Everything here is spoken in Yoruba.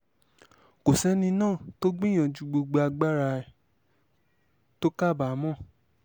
kò sẹ́ni náà tó gbìyànjú gbogbo agbára ẹ̀ tó kábàámọ̀